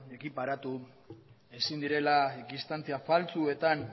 ekiparatu ezin direla distantzia faltsuetan